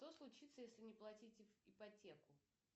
что случится если не платить ипотеку